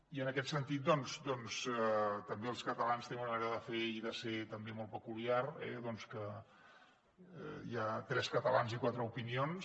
i en aquest sentit doncs els catalans tenim una manera de fer i de ser també molt peculiar que hi ha tres catalans i quatre opinions